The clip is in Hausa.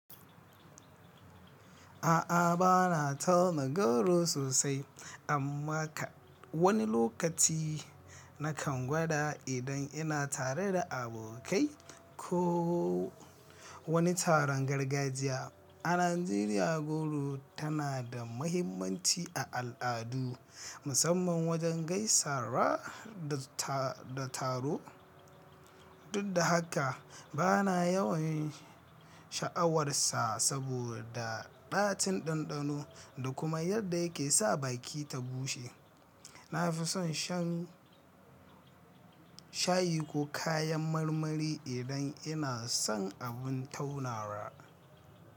A'a bana tauna goro sosai, amma ka wani lokaci na kan gwada idan ina tare da abokai ko wani taron gargajiya. A Najeriya goro tana da mahimmanci a al'adu, musamman wajen gaisawa da taro. Dud da haka bana yawan sha'awarsa saboda ɗacin ɗanɗano da kuma yadda yake sa baki ta bushe. Na fi son shan shayi ko kayan marmari idan ina son abun taunawa.